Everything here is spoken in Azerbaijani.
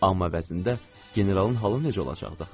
Amma əvəzində generalın halı necə olacaqdı axı?